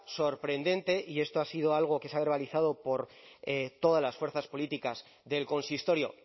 sorprendente y esto ha sido algo que se ha verbalizado por todas las fuerzas políticas del consistorio